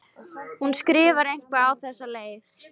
Hún skrifar eitthvað á þessa leið: